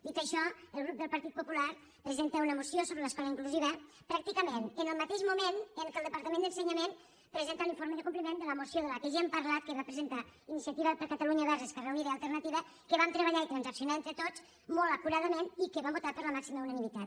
dit això el grup del partit popular presenta una moció sobre l’escola inclusiva pràcticament en el mateix moment en què el departament d’ensenyament presenta l’informe de compliment de la moció de la qual ja hem parlat que va presentar iniciativa per catalunya verds esquerra unida i alternativa que vam treballar i transaccionar entre tots molt acuradament i que vam votar amb la màxima unanimitat